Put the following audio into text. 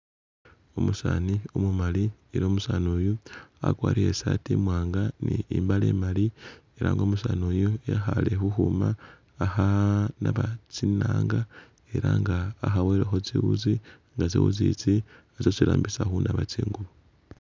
Umusani umumali ela umusani uyu wakwarire i'saati imwanga ni i'mbaale imali, ela nga umusaani uyu ekhale khukhuma akha naba tsinaanga ela nga wakhaboyelekho tsiwuzi nga tsiwuzi itsi nitsyo isi kharambisa khunaba tsingubo.